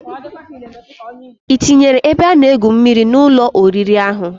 Itinyere ebe ana egwu mmiri an Ụlọ oriri ahu?